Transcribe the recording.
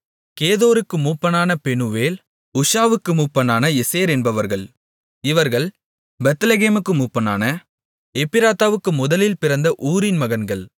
கேதோருக்கு மூப்பனான பெனுவெல் உஷாவுக்கு மூப்பனான எசேர் என்பவர்கள் இவர்கள் பெத்லெகேமுக்கு மூப்பனான எப்ராத்தாவுக்கு முதலில் பிறந்த ஊரின் மகன்கள்